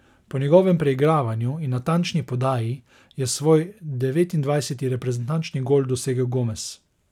Po njegovem preigravanju in natančni podaji je svoj devetindvajseti reprezentančni gol dosegel Gomez.